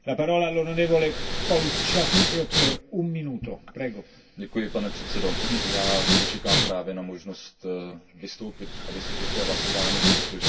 Pane předsedající, já zde čekám právě na možnost vystoupit a vysvětlit své hlasování, protože chci skutečně odsoudit to mučení, ke kterému docházelo.